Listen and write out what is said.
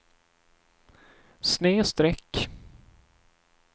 snedsträck